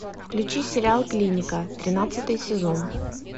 включи сериал клиника тринадцатый сезон